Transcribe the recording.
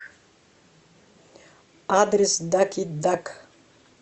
адрес даки дак